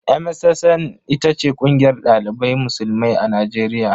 MSSN ita ce kungiyar dalibai musulmai a najeriya.